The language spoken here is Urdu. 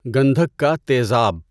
گندھک کا تیزاب